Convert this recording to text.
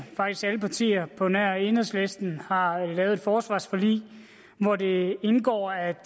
faktisk alle partier på nær enhedslisten har lavet et forsvarsforlig hvor det indgår at